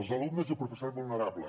els alumnes i el professorat vulnerable